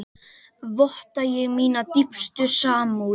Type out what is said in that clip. Votta ég mína dýpstu samúð.